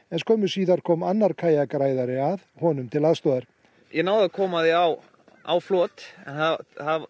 en skömmu síðar kom annar kajakræðari að honum til aðstoðar ég náði að koma því á á flot en það